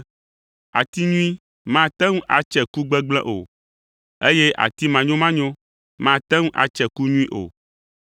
Ati nyui mate ŋu atse ku gbegblẽ o, eye ati manyomanyo mate ŋu atse ku nyui o.